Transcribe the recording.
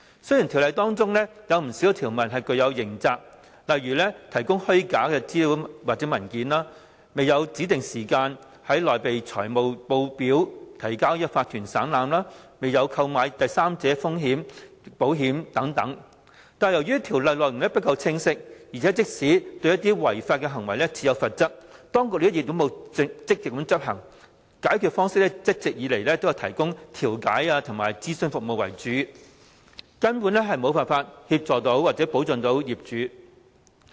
雖然《條例》中不少條文訂明刑責，例如提供虛假資料或文件、未有在指定時間內擬備財務報表提交法團省覽、未有購買第三者風險保險等，但由於《條例》內容不夠清晰，而且即使對違法行為設有罰則，當局並沒有積極執行，解決方式一直都以調解和提供諮詢服務為主，根本無法協助或保障業主。